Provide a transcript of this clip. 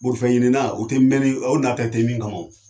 Borifɛnɲinina u tɛ mɛnni o n'a tɛ min kama